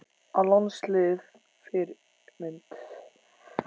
Á landsliðið Fyrirmynd?